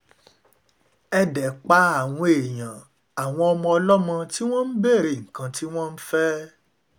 ẹ dé pa àwọn èèyàn àwọn ọmọ ọlọ́mọ tí wọ́n ń béèrè nǹkan tí wọ́n ń fẹ́